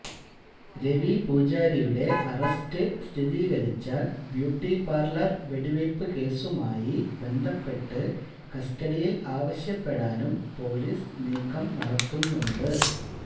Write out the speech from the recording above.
രവി പൂജാരിയുടെ അറസ്റ്റ് സ്ഥിരീകരിച്ചാല് ബ്യൂട്ടിപാര്ലര് വെടിവയ്പ് കേസുമായി ബന്ധപ്പെട്ട് കസ്റ്റഡിയില് ആവശ്യപ്പെടാനും പൊലീസ് നീക്കം നടത്തുന്നുണ്ട്